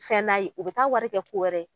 Fɛn n'a ye, u bɛ taa wari kɛ ko wɛrɛ ye